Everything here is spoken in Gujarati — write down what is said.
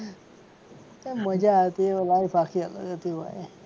મજા આવતી એ લાઇફ આખી અલગ હતી ભાઈ.